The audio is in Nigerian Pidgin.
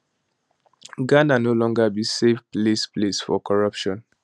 ghana no longer be safe place place for corruption